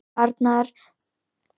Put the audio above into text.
Arnór Kárason: Já.